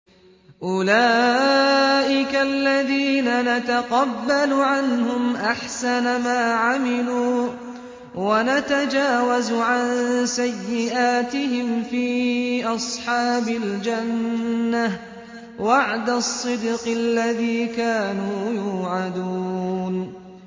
أُولَٰئِكَ الَّذِينَ نَتَقَبَّلُ عَنْهُمْ أَحْسَنَ مَا عَمِلُوا وَنَتَجَاوَزُ عَن سَيِّئَاتِهِمْ فِي أَصْحَابِ الْجَنَّةِ ۖ وَعْدَ الصِّدْقِ الَّذِي كَانُوا يُوعَدُونَ